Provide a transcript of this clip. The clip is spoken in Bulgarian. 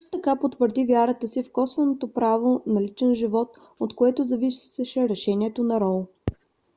също така потвърди вярата си в косвеното право на личен живот от което зависеше решението на роу